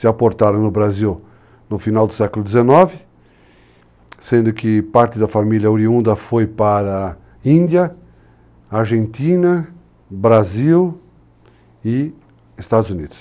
Se aportaram no Brasil no final do século XIX, sendo que parte da família oriunda foi para a Índia, Argentina, Brasil e Estados Unidos.